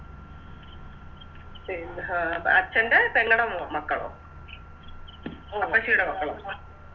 പിന്നെ അച്ഛൻറെ പെങ്ങടെ മോ മക്കളോ അപ്പച്ചിടെ മക്കളോ